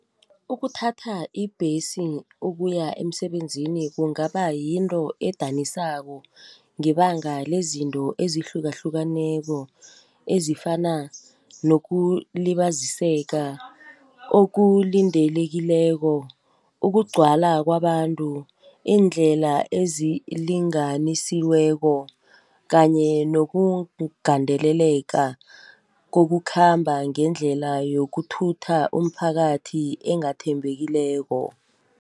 Ukuthatha ibhesi ukuya emsebenzini kungaba yinto edanisako ngebanga lezinto ezihlukahlukeneko, ezifana nokulibaziseka okulindelekileko, ukugcwala kwabantu, iindlela ezilinganisiweko kanye nokugandeleleka kokukhamba ngendlela yokuthutha umphakathi engathembekileko.